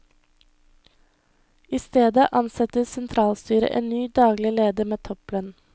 I stedet ansetter sentralstyret en ny daglig leder med topplønn.